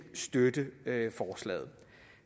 støtte forslaget